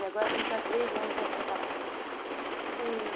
E agora a gente há três anos é separado. E...